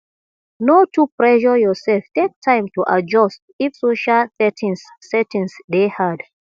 no too pressure yourself take time to adjust if social settings settings dey hard